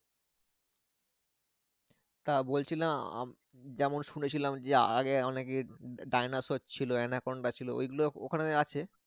তা বলছিলাম যেমন শুনেছিলাম যে আগে অনেকে ডাইনোসর ছিল অ্যানাকোন্ডা ছিল ওই গুলো ওখানে আছে?